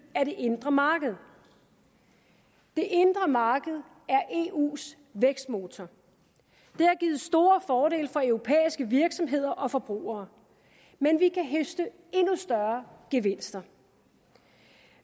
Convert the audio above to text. af det indre marked det indre marked er eus vækstmotor det har givet store fordele for europæiske virksomheder og forbrugere men vi kan høste endnu større gevinster